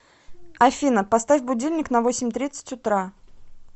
афина поставь будильник на восемь тридцать утра